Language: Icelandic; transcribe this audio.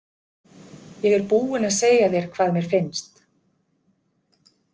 Ég er búinn að segja þér hvað mér finnst.